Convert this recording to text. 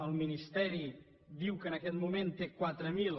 el ministeri diu que en aquest moment té quatre mil